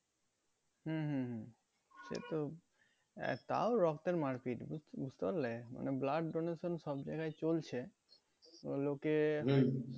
হম হম হম সেতো আহ তাও রক্তের মারপিট বুঝ~ বুঝতে পারলে মানে blood donation সব জায়গায় চলছে তো লোকে